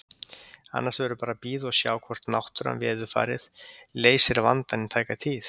Annars verður bara að bíða og sjá hvort náttúran, veðurfarið, leysir vandann í tæka tíð.